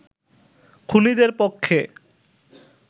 খুনীদের পক্ষে